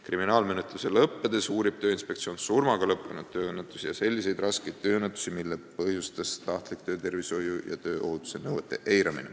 Kriminaalmenetluse lõppedes uurib Tööinspektsioon surmaga lõppenud tööõnnetusi ja selliseid raskeid tööõnnetusi, mille põhjustas tahtlik töötervishoiu ja tööohutuse nõuete eiramine.